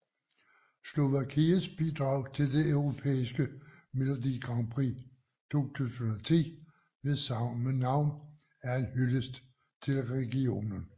Slovakiets bidrag til det europæiske melodi grandprix 2010 ved samme navn er en hyldest til regionen